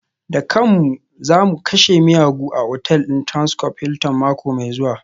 Dukanmu za mu kashe miyagu a otal ɗin Transcorp Hilton mako mai zuwa